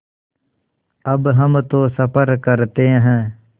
अब हम तो सफ़र करते हैं